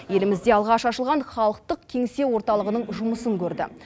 елімізде алғаш ашылған халықтық кеңсе орталығының жұмысын көрді